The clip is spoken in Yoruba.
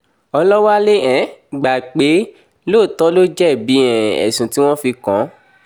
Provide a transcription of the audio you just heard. ọlọ́wálé um gbà pé lóòtọ́ ló jẹ̀bi um ẹ̀sùn tí wọ́n fi kàn án